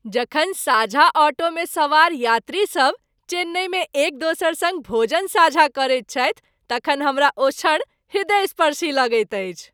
जखन साझा ऑटोमे सवार यात्रीसभ चेन्नईमे एक दोसर सङ्ग भोजन साझा करैत छथि तखन हमरा ओ क्षण हृदयस्पर्शी लगैत अछि।